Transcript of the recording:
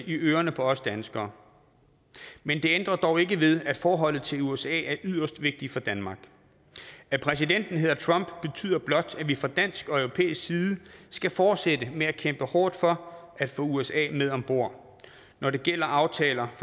i ørerne på os danskere men det ændrer dog ikke ved at forholdet til usa er yderst vigtigt for danmark at præsidenten hedder trump betyder blot at vi fra dansk og europæisk side skal fortsætte med at kæmpe hårdt for at få usa med om bord når det gælder aftaler